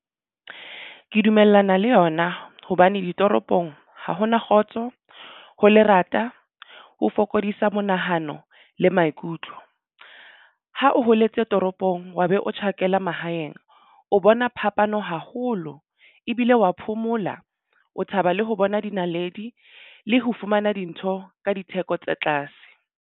Ke dumellana le yona hobane ditoropong ha ho na kgotso ho lerata o fokodisa monahano le maikutlo ho o holetse toropong shopong wa be o tjhakela mahaeng. O bona phapano haholo ebile wa phomola o thaba le ho bona dinaledi le ho fumana dintho ka ditheko tse tlase.